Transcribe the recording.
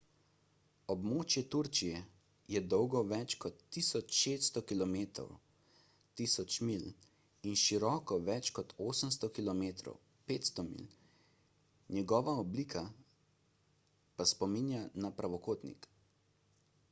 območje turčije je dolgo več kot 1600 km 1000 milj in široko več kot 800 km 500 milj njegova oblika pa spominja na pravokotnik